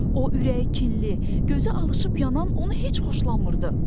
O, ürəyi kinli, gözü alışıp yanan onu heç xoşlanmırdı.